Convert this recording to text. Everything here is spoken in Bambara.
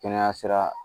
Kɛnɛya sira